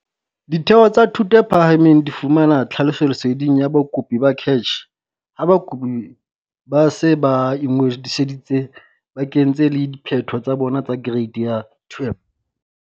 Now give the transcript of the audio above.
Ditheo tsa thuto e phahameng di fumana tlhalefoleseding ya bakopi ho CACH ha bakopi ba se ba ingodisitse ba kentse le diphetho tsa bona tsa Kereiti ya 12.